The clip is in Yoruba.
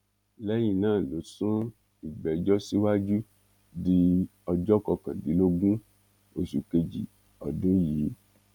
lẹyìn náà ló sún ìgbẹjọ síwájú di ọjọ kọkàndínlógún oṣù kejì ọdún yìí